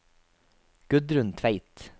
Gudrun Tveit